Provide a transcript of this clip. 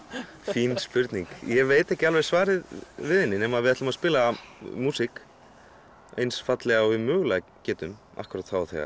fín spurning ég veit ekki alveg svarið við henni nema við ætlum að spila músík eins fallega og við mögulega getum akkúrat þá og þegar